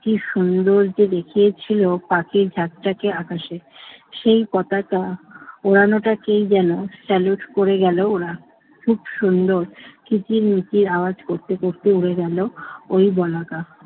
কি সুন্দর যে দেখিয়েছিল পাখির ঝাঁকটাকে আকাশে। সেই পতাকা উড়ানোটাকেই যেনো স্যালুট করে গেল ওরা। খুব সুন্দর কিচিরমিচির আওয়াজ করতে করতে উড়ে গেল ওই বলাকা।